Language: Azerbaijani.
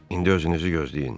İndi özünüzü gözləyin.